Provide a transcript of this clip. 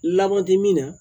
Lamɔdimi na